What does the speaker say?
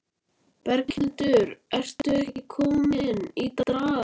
Berghildur, ertu ekki komin í drag?